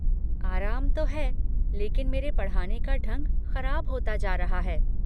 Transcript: आराम तो है लेकिन मेरे पढ़ाने का ढंग ख़राब होता जा रहा है।